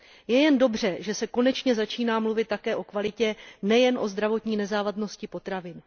Je jen dobře, že se konečně začíná mluvit také o kvalitě, nejen o zdravotní nezávadnosti potravin.